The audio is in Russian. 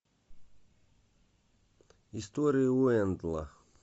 история уэнделла